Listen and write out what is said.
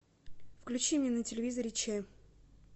включи мне на телевизоре че